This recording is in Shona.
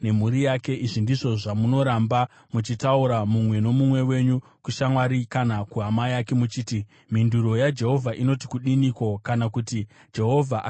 Izvi ndizvo zvamunoramba muchitaura mumwe nomumwe wenyu kushamwari kana kuhama yake muchiti: ‘Mhinduro yaJehovha inoti kudiniko?’ kana kuti ‘Jehovha akataureiko?’